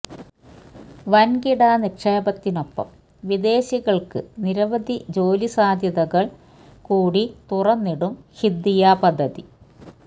വന്കിട നിക്ഷേപത്തിനൊപ്പം വിദേശികള്ക്ക് നിരവധി ജോലി സാധ്യതകള് കൂടി തുറന്നിടും ഖിദ്ദിയ പദ്ധതി